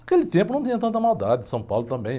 Naquele tempo não tinha tanta maldade em São Paulo também.